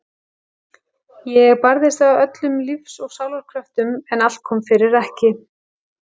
Ég barðist af öllum lífs og sálar kröftum en allt kom fyrir ekki.